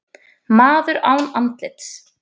Maður án andlits